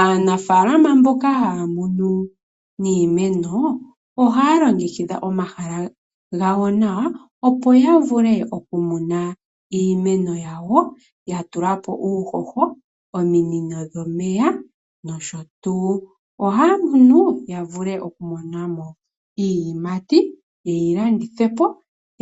Aanafalama mboka haya munu niimeno ohaya longekidha omahala gawo nawa, opo ya vule okumuna iimeno yawo ya tulapo uuhoho, ominino dhomeya nosho tuu. Ohaya munu ya vule okumona mo iiyimati, ye yi landithepo